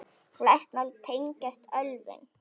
Flest mál tengdust ölvun.